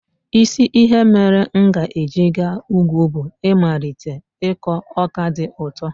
Isi ihe mere m ga-eji gaa ugwu bụ ịmalite ịkọ ọka dị ụtọ.